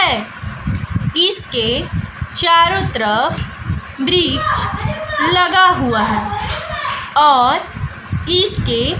ऐ इसके चारों तरफ ब्रिज लगा हुआ हैं और इसके।